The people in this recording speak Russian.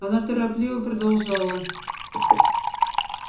она торопливо продолжала